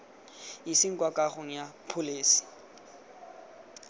iseng kwa kagong ya pholese